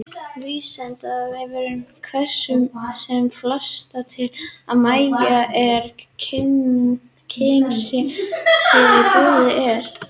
Vísindavefurinn hvetur sem flesta til að mæta og kynna sér það sem í boði er.